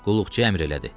Qulluqçu əmr elədi.